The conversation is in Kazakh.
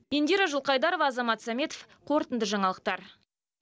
индира жылқайдарова азамат саметов қорытынды жаңалықтар